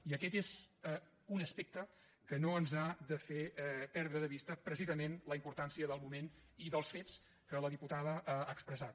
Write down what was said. i aquest és un aspecte que no ens ha de fer perdre de vista precisament la importància del moment i dels fets que la diputada ha expressat